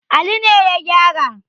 Ali ne ya gyara.